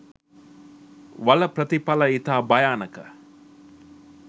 වල ප්‍රථිපල ඉතා භයානක